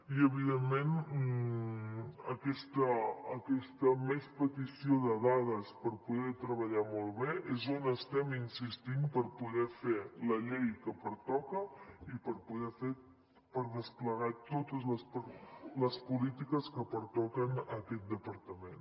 i evidentment aquesta més petició de dades per poder treballar molt bé és on estem insistint per poder fer la llei que pertoca i per poder fer i per desplegar totes les polítiques que pertoquen a aquest departament